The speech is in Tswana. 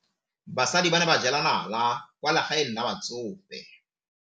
Basadi ba ne ba jela nala kwaa legaeng la batsofe.